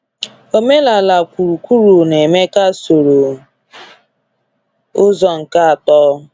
Omenala kwuru kwuru na Emeka soro ụzọ nke atọ.